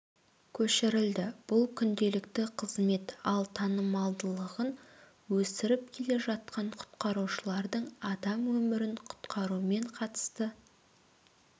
көшірілді бұл күнделікті қызмет ал танымалдылығын өсіріп келе жатқан құтқарушылардың адам өмірін құтқарумен қатысты